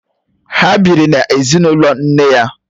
Ha bịịri n'ezinụlọ nne ha.